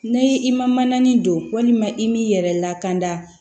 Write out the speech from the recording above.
Ne i ma manananani don walima i m'i yɛrɛ lakana